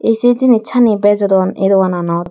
ey se jinichani bejodon eh dogananot.